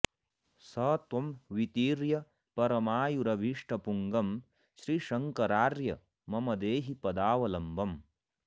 स त्वं वितीर्य परमायुरभीष्टपूगं श्रीशङ्करार्य मम देहि पदावलम्बम्